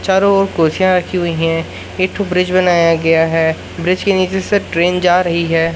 चारों ओर कुर्सियां रखी हुई हैं एक ठो ब्रिज बनाया गया है ब्रिज के नीचे से ट्रेन जा रही है।